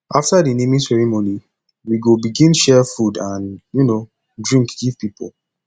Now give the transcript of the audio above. after di naming ceremony we go begin share food and um drink give pipo